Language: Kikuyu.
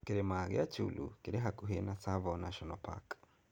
Kĩrĩma kĩa Chyulu kĩrĩ hakuhĩ na Tsavo National Park.